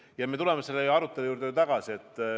Ja me tuleme ju selle arutelu juurde tagasi.